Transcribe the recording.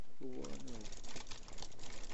Obwone ou?